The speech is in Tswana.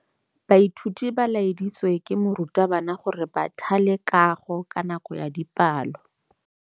Baithuti ba laeditswe ke morutabana gore ba thale kagô ka nako ya dipalô.